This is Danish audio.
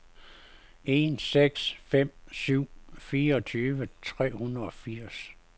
en seks fem syv fireogtyve tre hundrede og firs